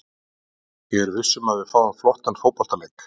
Ég er viss um að við fáum flottan fótboltaleik.